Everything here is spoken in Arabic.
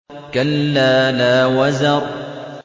كَلَّا لَا وَزَرَ